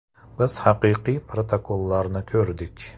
Biz haqiqiy protokollarni ko‘rdik.